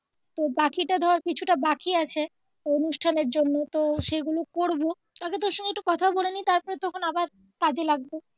তো বাকিটা ধর কিছুটা বাকি আছে অনুষ্ঠানের জন্য তো সেগুলো করবো ফাঁকে একটু তোর সঙ্গে কথা বলেনি তারপরে আবার তখন আবার কাজে লাগবো